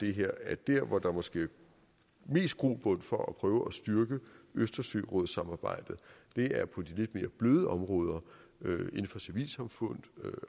det her at der hvor der måske er mest grobund for at prøve at styrke østersørådssamarbejdet er på de lidt mere bløde områder inden for civilsamfund